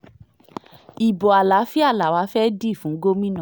ibo àlàáfíà làwa fẹ́ẹ́ dì fún gómìnà